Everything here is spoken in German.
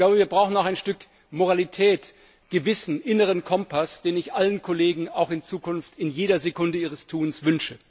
Ich glaube, wir brauchen auch ein Stück Moralität, Gewissen, inneren Kompass, den ich allen Kollegen auch in Zukunft in jeder Sekunde ihres Tuns wünsche.